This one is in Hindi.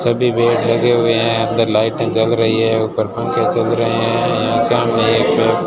सभी बेड लगे हुए हैं अंदर लाइटे जल रही है ऊपर पंखे चल रहे हैं यहां सामने एक पेड़--